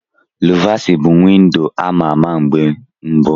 Luvasi bụ windo a ma-ama mgbe mbu.